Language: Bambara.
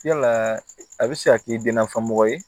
Yala a bɛ se ka k'i denna fɔ mɔgɔ ye